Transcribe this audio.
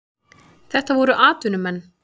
Þetta voru atvinnumenn.